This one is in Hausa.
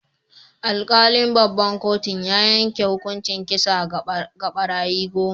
Alkalin babban kotun ya yanke hukuncin kisa ga barayi goma.